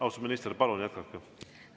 Austatud minister, palun jätkake!